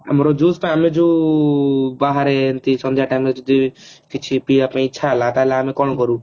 ଆମର juice ଟା ଆମେ ଯୋଉ ବାହାରେ ଏମତି ସନ୍ଧ୍ଯା time ରେ ଯଦି ପିଇବା ପାଇ ଇଚ୍ଛା ହେଲା କଣ କରୁ